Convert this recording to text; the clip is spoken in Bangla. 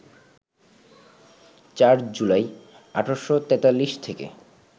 ৪ জুলাই, ১৮৪৩ থেকে